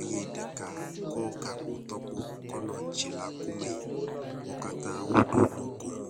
eye ɖeka kɔ gakpo tɔkpo kɔ nɔ tsi la ku mee. Wo katã woɖo nu ko mo.